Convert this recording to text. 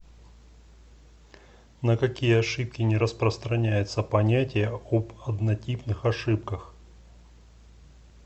на какие ошибки не распространяется понятие об однотипных ошибках